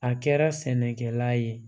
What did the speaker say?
A kɛra sɛnɛkɛla ye